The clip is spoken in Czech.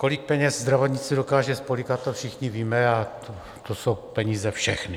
Kolik peněz zdravotnictví dokáže spolykat, to všichni víme, a to jsou peníze všechny.